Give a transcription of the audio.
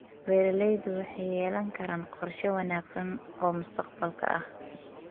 Beeraleydu waxay yeelan karaan qorshe wanaagsan oo mustaqbalka ah.